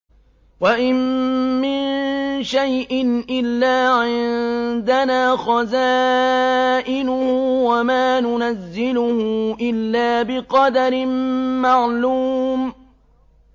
وَإِن مِّن شَيْءٍ إِلَّا عِندَنَا خَزَائِنُهُ وَمَا نُنَزِّلُهُ إِلَّا بِقَدَرٍ مَّعْلُومٍ